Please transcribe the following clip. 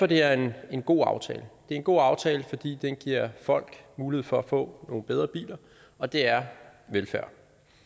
det er en en god aftale det en god aftale fordi den giver folk mulighed for at få nogle bedre biler og det er velfærd